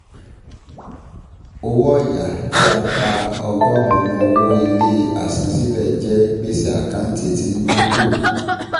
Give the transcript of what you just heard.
Owó ọ̀ya tí a pa ọgọ́rùn-ún owó ilé àsansílẹ̀ jẹ gbèsè àkántì tí ń dínkù